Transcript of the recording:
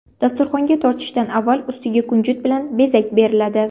Dasturxonga tortishdan avval ustiga kunjut bilan bezak beriladi.